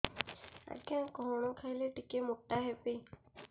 ଆଜ୍ଞା କଣ୍ ଖାଇଲେ ଟିକିଏ ମୋଟା ହେବି